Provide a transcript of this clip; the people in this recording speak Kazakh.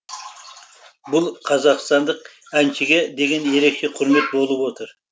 бұл қазақстандық әншіге деген ерекше құрмет болып отыр